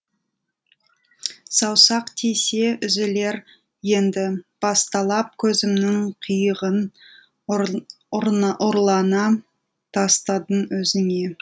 саусақ тисе үзілер енді баспалап көзімнің қиығын ұрлана тастадым өзіңе